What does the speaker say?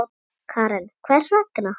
Karen: Hvers vegna?